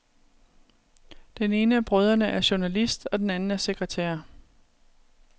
Den ene af brødrene er journalist og den anden er sekretær.